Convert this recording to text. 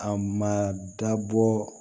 A ma dabɔ